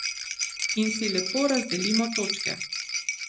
In si lepo razdelimo točke.